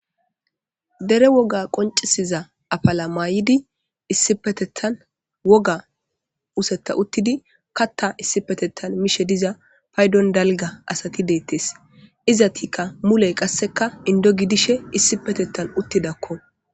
Dere woga qoncisiza afala mayidi issipetetan woga utheta uthidi katha issipetetan mishe diza paydon dalga asati deetes izetika mule kasika indo gidishe issipetetan uthidako.